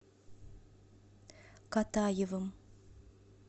катаевым